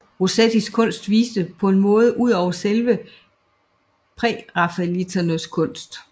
Rossettis kunst viste på en måde ud over selve prærafaelitternes kunst